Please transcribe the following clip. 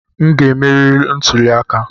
M ga-emeri na ntuli aka!